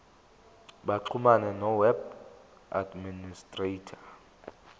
baxhumane noweb administrator